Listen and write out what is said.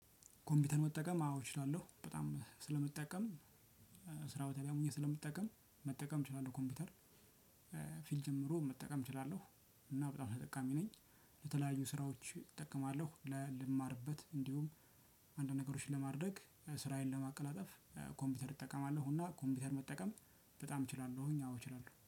ኮምፒውተር መጠቀም አዎ እችላለሁ በጣም ስለምጠቀም። ስራው ታዲያ ሙያ ስለምጠቀም መጠቀም እችላለሁ ኮምፒውተር። ፊልድ ጀምሮ መጠቀም እችላለሁ። እና በጣም ተጠቃሚ ነኝ። ለተለያዩ ስራዎች እጠቀማለሁ ለልማርበት እንዲሁም አንድ ነገሮችን ለማድረግ ስራዬን ለማቀላጠፍ። ኮምፒውተር እጠቀማለሁና እና ኮምፒውተር መጠቀም በጣም እችላለሁኝ አዎ እችላለሁ